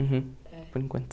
Uhum, por enquanto.